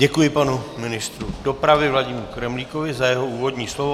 Děkuji panu ministru dopravy Vladimíru Kremlíkovi za jeho úvodní slovo.